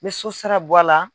N bɛ sosara bɔ a la.